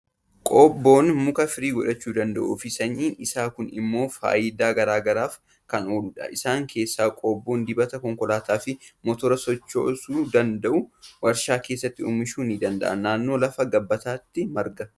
Qobboon mukis firii godhachuu danda'uu fi sanyiin isaa kun immoo faayidaa garaa garaaf kan ooludha. Isaan keessaa qobboon dibata konkolaataa fi motora sochoosuu danda'u waarshaa keessatti oomishamuu ni danda'a. Naanno lafa gabbataatti marga.